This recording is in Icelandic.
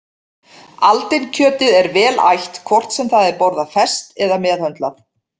Aldinkjötið er vel ætt hvort sem það er borðað ferskt eða meðhöndlað.